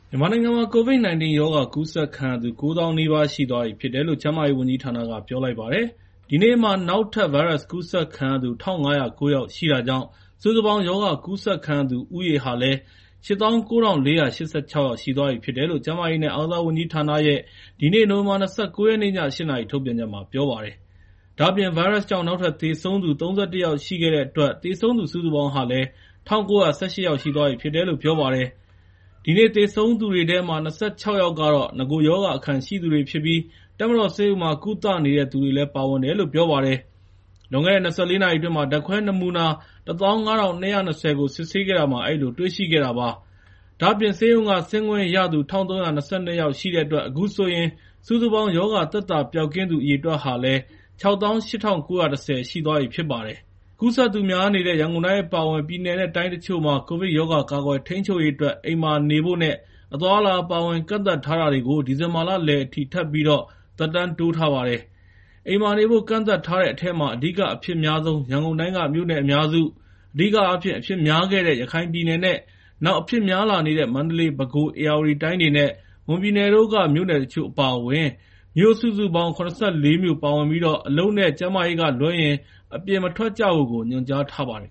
မြန်မာနိုင်ငံမှာ COVID-19 ရောဂါ ကူးစက်ခံရသူ ၉၀,၀၀၀ နီးပါး ရှိသွားပြီဖြစ်တယ်လို့ ကျန်းမာရေးဝန်ကြီးဌာနက ပြောလိုက်ပါတယ်။ ဒီနေ့မှာ နောက်ထပ် ဗိုင်းရပ်စ်ကူးစက်ခံရသူ ၁,၅၀၉ ယောက်ရှိတာကြောင့် စုစုပေါင်း ရောဂါကူးစက်ခံရသူဦးရေဟာ ၈၉,၄၈၆ ယောက်ရှိသွားပြီလို့ ကျန်းမာရေးနဲ့ အားကစားဝန်ကြီးဌာနရဲ့ ဒီနေ့ နိုဝင်ဘာ ၂၉ ရက်နေ့ ည ၈ နာရီ ထုတ်ပြန်ချက်မှာ ပြောပါတယ်။ ဒါ့အပြင် ဗိုင်းရပ်စ်ကြောင့် နောက်ထပ် သေဆုံး ၃၁ ယောက် ရှိခဲ့တဲ့အတွက် သေဆုံးသူစုစုပေါင်း ၁,၉၁၈ ယောက်ရှိသွားပြီဖြစ်တယ်လို့ ပြောပါတယ်။ ဒီနေ့သေဆုံးတဲ့သူတွေထဲမှာ ၂၆ ယောက်ကတော့ နဂိုရောဂါအခံရှိသူတွေဖြစ်ပြီး တပ်မတော်ဆေးရုံမှာ ကုသနေတဲ့သူတွေလည်း ပါဝင်တယ်လို့ ပြောပါတယ်။ လွန်ခဲ့တဲ့ ၂၄ နာရီအတွင်း ဓာတ်ခွဲနမူနာ ၁၅,၂၂၀ ကို စစ်ဆေးခဲ့တာမှာ အဲဒီလိုတွေ့ရှိခဲ့တာ ဖြစ်ပါတယ်။ ဒါ့အပြင် ဆေးရုံက ဆင်းခွင့်ရသူ ၁,၃၂၂ ယောက်ရှိတဲ့အတွက် အခုဆိုရင် စုစုပေါင်း ရောဂါသက်သာပျောက်ကင်းသူ အရေအတွက် ၆၈,၉၁၀ ရှိသွားပြီဖြစ်ပါတယ်။ ကူးစက်သူများနေတဲ့ ရန်ကုန်တိုင်း အပါအဝင် ပြည်နယ်နဲ့ တိုင်းတချို့မှာ ကိုဗစ်ရောဂါ ကာကွယ်ထိန်းချုပ်ရေးအတွက် အိမ်မှာနေဖို့နဲ့ အသွားအလာ အပါအဝင် ကန့်သတ်ထားတာတွေကို ဒီဇင်ဘာလလယ်အထိ ထပ်ပြီး သက်တမ်းတိုးထားပါတယ်။ အိမ်မှာနေဖို့ ကန့်သတ်ထားတဲ့အထဲမှာ အဓိက အဖြစ်အများဆုံး ရန်ကုန်တိုင်းက မြို့နယ်အများစု၊ အဓိကအားဖြင့် အဖြစ်များခဲ့တဲ့ ရခိုင်ပြည်နယ်နဲ့ နောက်အဖြစ်များလာနေတဲ့ မန္တလေး၊ ပဲခူး၊ ဧရာဝတီတိုင်းတွေနဲ့ မွန်ပြည်နယ်တို့က မြို့တချို့ အပါအဝင် မြို့စုစုပေါင်း ၇၄ မြို့ပါဝင်ပြီး အလုပ်နဲ့ ကျန်းမာရေးကလွဲရင် အပြင်မထွက်ကြဖို့ ညွှန်ကြားထားပါတယ်